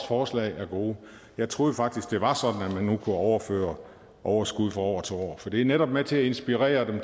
forslag er gode jeg troede faktisk det var sådan at man nu kunne overføre overskud fra år til år for det er netop med til inspirere